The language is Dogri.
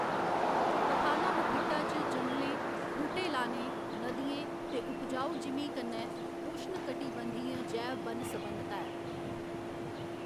पथानामथिट्टा च जंगलें, बूह्‌टे लाने, नदियें ते उपजाऊ जिमीं कन्नै उश्णकटिबंधीय जैव बन्न सबन्नता ऐ।